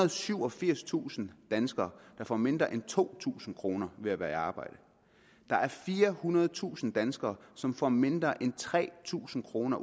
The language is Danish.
og syvogfirstusind danskere der får mindre end to tusind kroner ved at være i arbejde der er firehundredetusind danskere som får mindre end tre tusind kroner